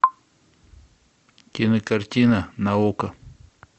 кинокартина на окко